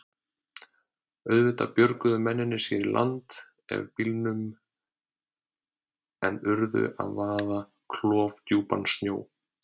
Auðvitað björguðu mennirnir sér í land af bílnum en urðu að vaða klofdjúpan sjó.